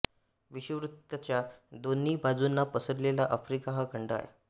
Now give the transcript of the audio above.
विषुववृत्ताच्या दोन्ही बाजूंना पसरलेला आफ्रिका हा खंड आहे